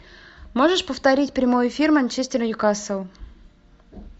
можешь повторить прямой эфир манчестер ньюкасл